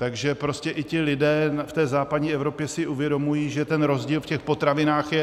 Takže prostě i ti lidé v té západní Evropě si uvědomují, že ten rozdíl v těch potravinách je.